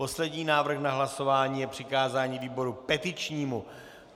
Poslední návrh na hlasování je přikázání výboru petičnímu.